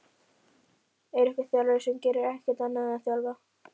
Er einhver þjálfari sem gerir ekkert annað en að þjálfa?